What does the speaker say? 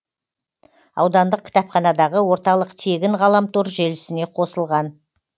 аудандық кітапханадағы орталық тегін ғаламтор желісіне қосылған